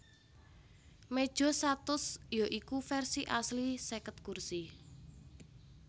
Meja satus ya iku versi asli seket kursi